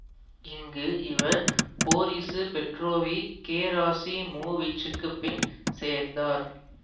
இங்கு இவர் Boris Petrovich கெராசிமோவிச்சுக்குப் பின் சேர்ந்தார்